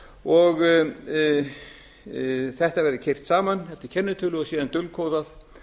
og þetta verði keyrt saman eftir kennitölu og síðan dulkóðað